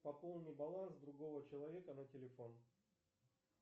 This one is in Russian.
пополни баланс другого человека на телефон